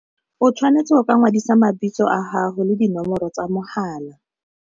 O tshwanetse go ka ngwadisa mabitso a haho le dinomoro tsa mogala.